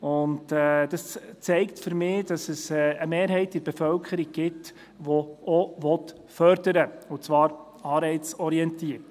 Dies zeigt für mich, dass es in der Bevölkerung eine Mehrheit gibt, die auch Fördern will und zwar anreizorientiert.